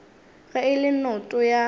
ge e le noto ya